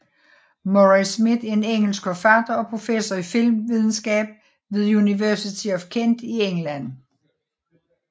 Murray Smith er en engelsk forfatter og professor i filmvidenskab ved University of Kent i England